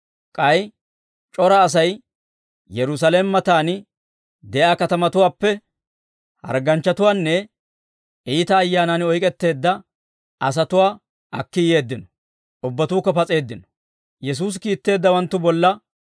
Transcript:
K'ay c'ora Asay Yerusaalame matan de'iyaa katamatuwaappe harganchchatuwaanne iita ayyaanan oyk'etteedda asatuwaa akki yeeddino; ubbatuukka pas'eeddino.